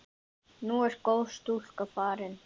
Nú er góð stúlka farin.